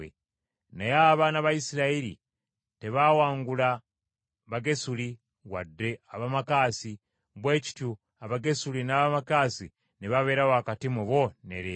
Naye abaana ba Isirayiri tebaawangula Bagesuli wadde Abamaakasi, bwe kityo Abagesuli n’Abamaakasi ne babeera wakati mu bo ne leero.